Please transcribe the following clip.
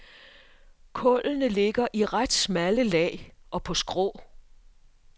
Kullene ligger i ret smalle lag og på skrå.